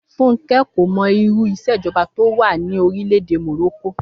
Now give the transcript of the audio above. Fúnkẹ́ kò mọ irú ìṣèjọba tó wà ní orílẹ̀ èdè Morocco